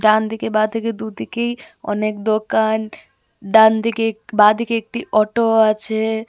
ডানদিকে বাঁদিকে দুদিকেই অনেক দোকান ডানদিকে বাঁদিকে একটি অটো ও আছে.